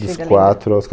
Dos quatro aos